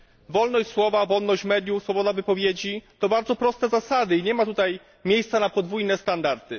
Wolność słowa, wolność mediów, swoboda wypowiedzi to bardzo proste zasady i nie ma tutaj miejsca na podwójne standardy.